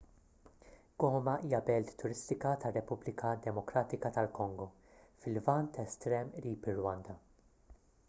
goma hija belt turistika tar-repubblika demokratika tal-kongo fil-lvant estrem qrib ir-rwanda